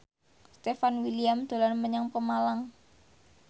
Stefan William dolan menyang Pemalang